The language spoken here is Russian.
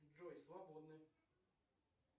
джой свободны